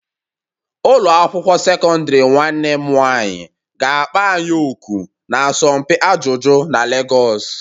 Ụlọ akwụkwọ sekọndrị nwanne m nwanyị ga-akpọ anyị òkù n'asọmpi ajụjụ na Lagos.